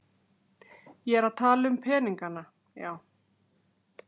Ég er að tala um peningana, já.